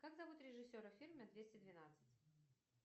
как зовут режиссера фильма двести двенадцать